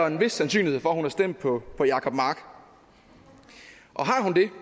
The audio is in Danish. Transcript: en vis sandsynlighed for at hun har stemt på på jacob mark og har hun det